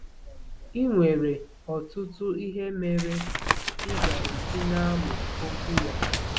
Ị nwere ọtụtụ ihe mere ị ga-eji na-amụ Okwu ya.